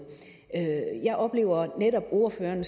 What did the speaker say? jeg oplever netop ordføreren